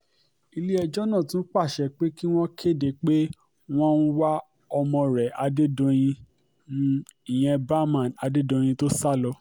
ilé-ẹjọ́ tún pàṣẹ pé kí wọ́n kéde pé um wọ́n ń wá ọmọ rẹ adédọ̀yìn um ìyẹn bahman adédọ̀yìn tó sá lọ